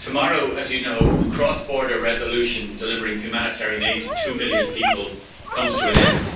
Tomorrow, as you know, the cross border resolution delivering humanitarian aid to two million people comes to an end.